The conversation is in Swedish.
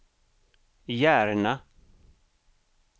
Järna